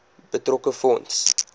betrokke fonds